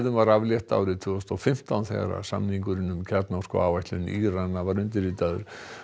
var aflétt árið tvö þúsund og fimmtán þegar samningurinn um kjarnorkuáætlun Írana var undirritaður